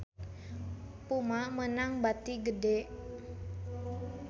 Puma meunang bati gede